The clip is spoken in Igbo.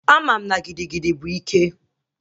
Ama m na gigigidi bụ ike